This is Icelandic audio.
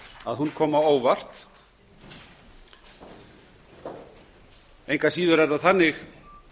að hún komi á óvart engu að síður er það þannig